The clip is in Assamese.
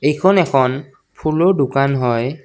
এইখন এখন ফুলৰ দোকান হয়।